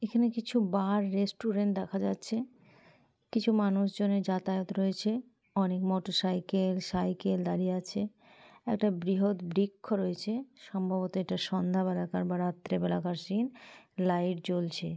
এখানে কিছু bar restaurant দেখা যাচ্ছে কিছু মানুষজনের যাতায়াত রয়েছে। অনেক মোটর সাইকেল সাইকেল দাঁড়িয়ে আছে একটা বৃহৎ বৃক্ষ রয়েছে। সম্ভবত এটা সন্ধা বেলাকার বা রাত্রে বেলাকার সিন লাইট জ্বলছে।